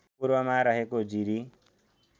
पूर्वमा रहेको जिरी